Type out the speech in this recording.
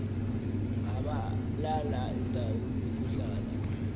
gabalala indawo yokuhlala